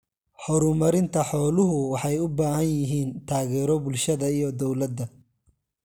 Horumarinta xooluhu waxay u baahan yihiin taageero bulshada iyo dawladda.